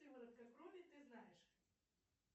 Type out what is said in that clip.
сыворотка крови ты знаешь